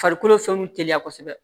Farikolo fɛnw teliya kosɛbɛ